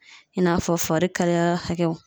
I n'a fɔ farikalaya hakɛw.